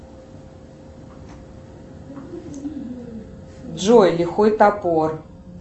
джой лихой топор